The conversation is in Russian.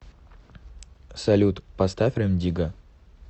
салют поставь рэм дигга